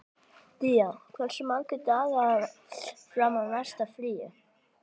Día, hversu margir dagar fram að næsta fríi?